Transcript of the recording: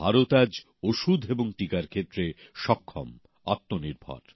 ভারত আজ ওষুধ এবং টিকার ক্ষেত্রে সক্ষম আত্মনির্ভর